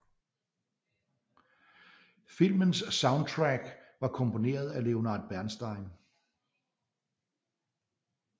Filmens soundtrack var komponeret af Leonard Bernstein